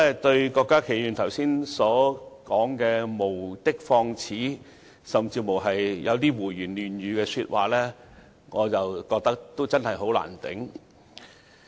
對於郭家麒議員剛才無的放矢，甚至胡言亂語的說話，我真的難以接受。